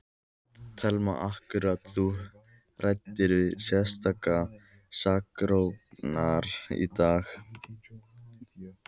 Telma: Akkúrat, þú ræddir við sérstaka saksóknara í dag?